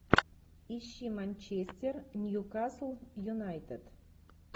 ищи манчестер ньюкасл юнайтед